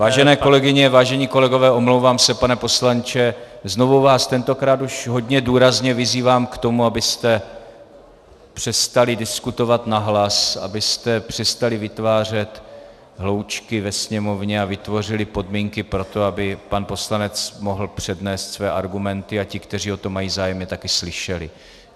Vážené kolegyně, vážení kolegové - omlouvám se, pane poslanče - znovu vás, tentokrát už hodně důrazně, vyzývám k tomu, abyste přestali diskutovat nahlas, abyste přestali vytvářet hloučky ve sněmovně a vytvořili podmínky pro to, aby pan poslanec mohl přednést své argumenty a ti, kteří o to mají zájem, je také slyšeli.